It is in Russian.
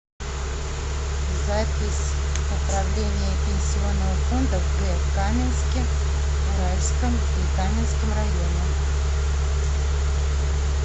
запись управление пенсионного фонда в г каменске уральском и каменском районе